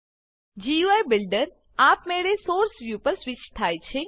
GUI builder આપમેળે source view પર switch થાય છે